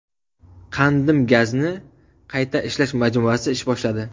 Qandim gazni qayta ishlash majmuasi ish boshladi.